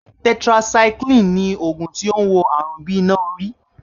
Tetracycline ni ògùn tó ń wo àrùn bí iná orí